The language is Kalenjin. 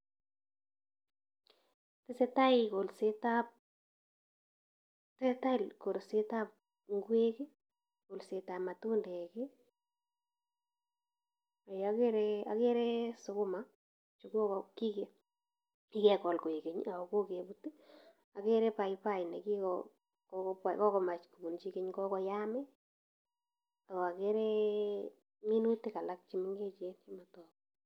Tesetai kolsetab, tesetai kolsetab ngek, kolsetab matundek, agere agere sukuma chu kogo, kige kigegol koegeny ago kogebut, agere paipai ne kigo, kogomach kobunchi geny, kogoyam ak agere minutik alak chemengechen chemotogu.